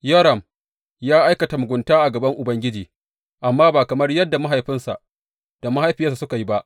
Yoram ya aikata mugunta a gaban Ubangiji, amma ba kamar yadda mahaifinsa da mahaifiyarsa suka yi ba.